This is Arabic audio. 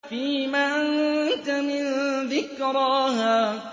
فِيمَ أَنتَ مِن ذِكْرَاهَا